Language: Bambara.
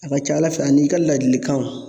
A ka ca Ala fɛ a n'i ka laadilikan